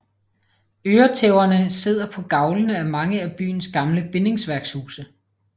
Øretæverne sidder på gavlene af mange af byens gamle bindingsværkshuse